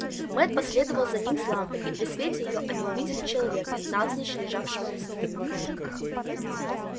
мэтт последовал за ним с лампой и при свете её они увидели человека навзничь лежавшего на снегу